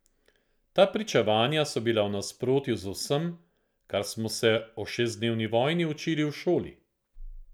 Ta pričevanja so bila v nasprotju z vsem, kar smo se o šestdnevni vojni učili v šoli.